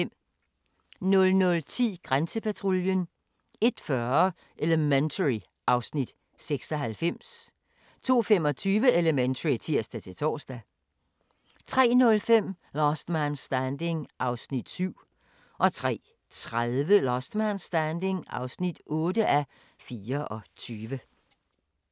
00:10: Grænsepatruljen 01:40: Elementary (Afs. 96) 02:25: Elementary (tir-tor) 03:05: Last Man Standing (7:24) 03:30: Last Man Standing (8:24)